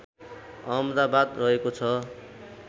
अहमदाबाद रहेको छ